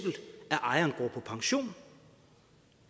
ejeren går på pension